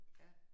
Ja